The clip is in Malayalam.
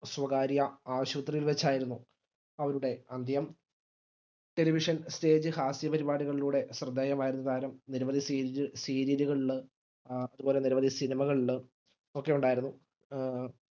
സ്വകാര്യ ആശുപത്രിയിൽ വെച്ചായിരുന്നു അവരുടെ അന്ത്യം television ഹാസ്യ പരിപാടികളിലൂടെ ശ്രെദ്ധേയമായിരുന്ന താരം നിരവധി serial അഹ് അതുപോലെ നിരവധി സിനിമകളില് ഒക്കെ ഉണ്ടായിരുന്നു അഹ്